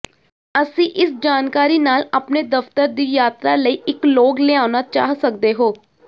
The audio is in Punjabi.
ਤੁਸੀਂ ਇਸ ਜਾਣਕਾਰੀ ਨਾਲ ਆਪਣੇ ਦਫ਼ਤਰ ਦੀ ਯਾਤਰਾ ਲਈ ਇੱਕ ਲੌਗ ਲਿਆਉਣਾ ਚਾਹ ਸਕਦੇ ਹੋ